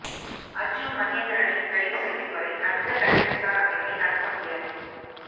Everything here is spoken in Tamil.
அர்ஜூன் மகேந்திரனை கைது செய்யும் வரை அடுத்த கட்ட விசாரணைகளை நடத்த முடியாது